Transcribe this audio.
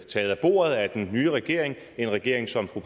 taget af bordet af den nye regering en regering som fru